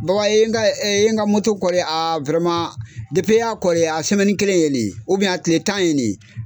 Baba i ye ka a i y'a a kelen ye nin ye a tile tan ye nin ye.